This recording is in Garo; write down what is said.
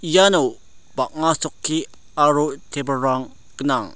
iano bang·a chokki aro table-rang gnang.